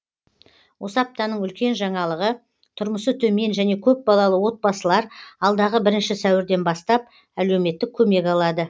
осы аптаның үлкен жаңалығы тұрмысы төмен және көп балалы отбасылар алдағы бірінші сәуірден бастап әлеуметтік көмек алады